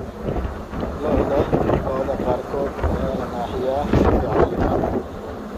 Lo'da lo'da qaarkood ayaa la naaxiyaa muddo cayiman.